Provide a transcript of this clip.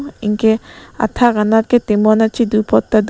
enke athak nat ke tomon kachedu pot tado.